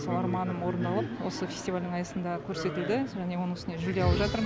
сол арманым орындалып осы фестивальдің аясында көрсетілді және оның үстіне жүлде алып жатырмын